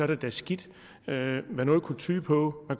det da skidt men noget kunne tyde på at